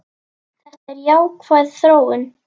Þetta er jákvæð þróun.